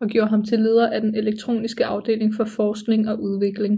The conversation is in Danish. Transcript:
og gjorde ham til leder af den elektroniske afdeling for forskning og udvikling